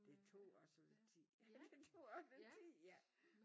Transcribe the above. Det tog også lidt tid det tog også lidt tid ja